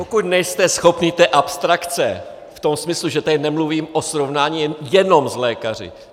Pokud nejste schopný té abstrakce v tom smyslu, že tady nemluvím o srovnání jenom s lékaři.